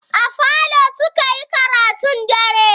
A falo suka yi karatun dare.